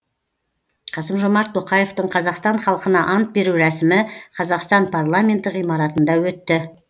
қасым жомарт тоқаевтың қазақстан халқына ант беру рәсімі қазақстан парламенті ғимаратында өтті